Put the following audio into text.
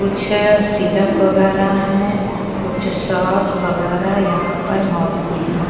कुछ सिरप वगैरह हैं कुछ सॉस वगैरह यहां पर मौजूद हैं।